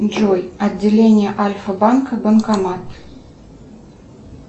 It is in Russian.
джой отделение альфа банка банкомат